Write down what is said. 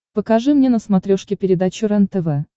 покажи мне на смотрешке передачу рентв